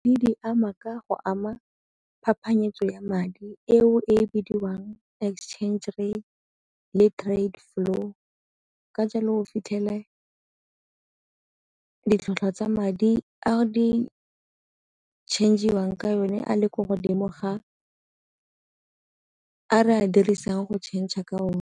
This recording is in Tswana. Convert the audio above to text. Di di ama ka go ama phapanyetsano ya madi eo e bidiwang exchange rate le trade flow ka jalo o fitlhele ditlhwatlhwa tsa madi a di change-iwang ka yone a le ko godimo ga a re a dirisang go changer ka one.